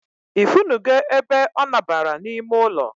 I funu go ebe o nabara na ime ụlọ